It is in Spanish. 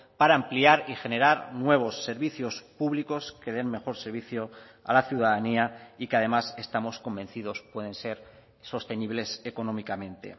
para ampliar y generar nuevos servicios públicos que den mejor servicio a la ciudadanía y que además estamos convencidos pueden ser sostenibles económicamente